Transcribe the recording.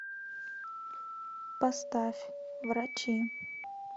поставь врачи